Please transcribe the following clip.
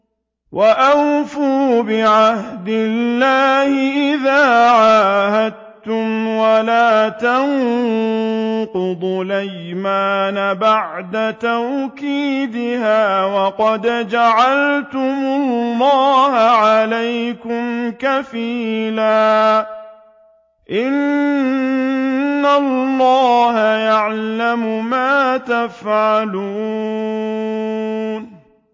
وَأَوْفُوا بِعَهْدِ اللَّهِ إِذَا عَاهَدتُّمْ وَلَا تَنقُضُوا الْأَيْمَانَ بَعْدَ تَوْكِيدِهَا وَقَدْ جَعَلْتُمُ اللَّهَ عَلَيْكُمْ كَفِيلًا ۚ إِنَّ اللَّهَ يَعْلَمُ مَا تَفْعَلُونَ